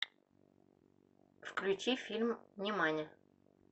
включи фильм нимани